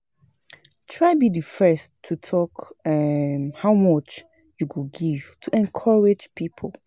Try be di first to talk um how much you go give to encourage pipo